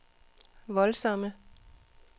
voldsomme